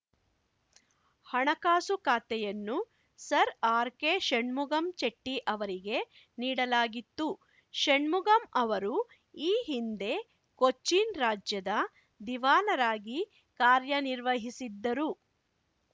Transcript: ಹಣಕಾಸು ಖಾತೆಯನ್ನು Sir R K Shanmugam ಚೆಟ್ಟಿಅವರಿಗೆ ನೀಡಲಾಗಿತ್ತು ಶಣ್ಮುಗಂ ಅವರು ಈ ಹಿಂದೆ ಕೊಚ್ಚಿನ್‌ ರಾಜ್ಯದ ದಿವಾನರಾಗಿ ಕಾರ್ಯನಿರ್ವಹಿಸಿದ್ದರು